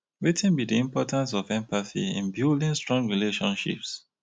wetin be di importance of empathy in building strong relationships?